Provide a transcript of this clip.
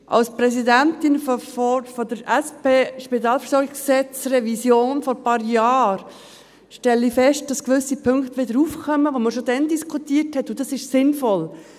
Als Präsidentin der Kommission zur Revision des Spitalversorgungsgesetzes (SpVG) vor ein paar Jahren stelle ich fest, dass gewisse Punkte wieder aufkommen, die wir schon damals diskutierten, und das ist sinnvoll.